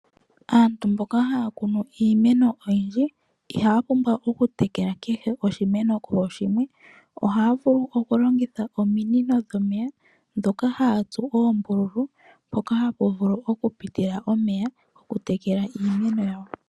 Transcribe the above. Aantu mboka haya kunu iimeno oyindji, ihaya pumbwa okutekela kehe oshimeno kooshimwe, ohaya vulu okulongitha ominino dhomeya dhoka hayatsu oombululu mpoka hapuvulu okupitile omeya okutekela iimeno yawo.